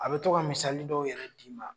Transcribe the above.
A be tɔgɔ ka misali dɔw yɛrɛ d'i ma